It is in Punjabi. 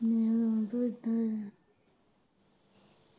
hmm good day